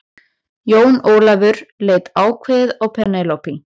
Jón Ólafur leit ákveðið á Penélope.